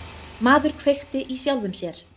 Maður kveikti í sjálfum sér